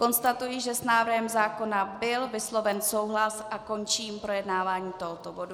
Konstatuji, že s návrhem zákona byl vysloven souhlas a končím projednávání tohoto bodu.